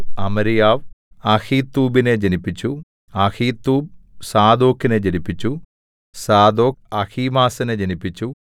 അമര്യാവ് അഹിത്തൂബിനെ ജനിപ്പിച്ചു അഹീത്തൂബ് സാദോക്കിനെ ജനിപ്പിച്ചു സാദോക്ക് അഹീമാസിനെ ജനിപ്പിച്ചു